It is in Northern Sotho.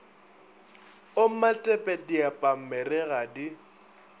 o matepe diepamere ga di